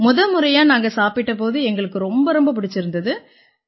முதமுறையா நாங்க சாப்பிட்ட போது எங்களுக்கு ரொம்ப ரொம்ப பிடிச்சிருந்திச்சு